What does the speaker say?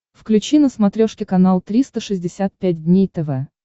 включи на смотрешке канал триста шестьдесят пять дней тв